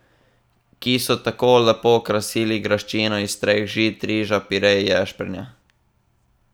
Ki so tako lepo krasili graščino iz treh žit, riža, pire in ješprenja.